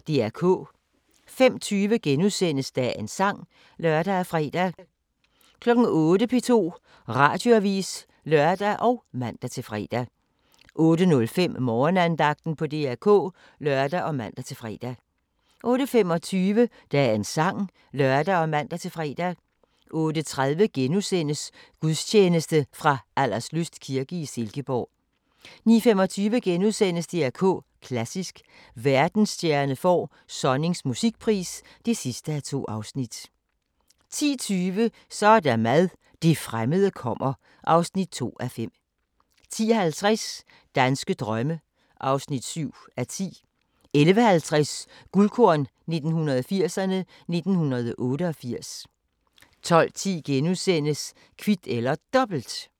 05:20: Dagens sang *(lør og fre) 08:00: P2 Radioavis (lør og man-fre) 08:05: Morgenandagten på DR K (lør og man-fre) 08:25: Dagens sang (lør og man-fre) 08:30: Gudstjeneste fra Alderslyst kirke i Silkeborg * 09:25: DR K Klassisk: Verdensstjerne får Sonnings musikpris (2:2)* 10:20: Så er der mad – det fremmede kommer (2:5) 10:50: Danske drømme (7:10) 11:50: Guldkorn 1980'erne: 1988 12:10: Kvit eller Dobbelt *